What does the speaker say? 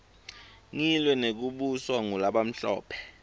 ngilwe nekubuswa ngulabamhlophe